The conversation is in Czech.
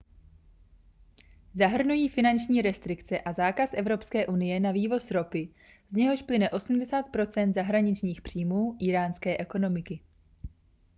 zahrnují finanční restrikce a zákaz evropské unie na vývoz ropy z něhož plyne 80 % zahraničních příjmů íránské ekonomiky